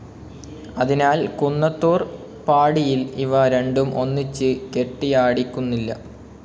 അതിനാൽ കുന്നത്തൂർ പാടിയിൽ ഇവ രണ്ടും ഒന്നിച്ച് കെട്ടിയാടിക്കുന്നില്ല.